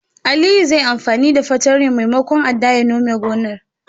Aliyu zai yi anfani da fartanyar maimakon adda ya nome gonar.